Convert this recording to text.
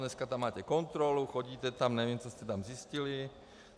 Dneska tam máte kontrolu, chodíte tam, nevím, co jste tam zjistili.